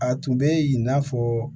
A tun bɛ in n'a fɔ